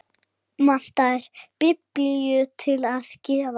Vantaði biblíu til að gefa.